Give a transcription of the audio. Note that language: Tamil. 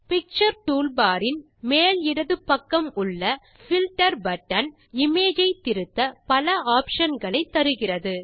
பிக்சர் டூல்பார் இன் மேல் இடது பக்கம் உள்ள பில்ட்டர் பட்டன் இமேஜ் ஐ திருத்த பல optionகளை தருகிறது